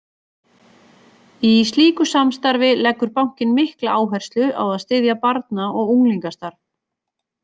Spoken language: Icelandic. Í slíku samstarfi leggur bankinn mikla áherslu á að styðja barna- og unglingastarf.